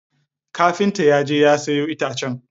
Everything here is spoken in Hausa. Kafinta ya je ya sayo itacen.